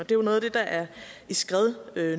jo noget af det der er i skred